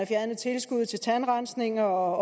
fjernet tilskuddet til tandrensning og